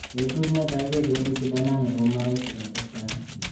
"Betut netai kebedi sidanani ako moroisi"katestai.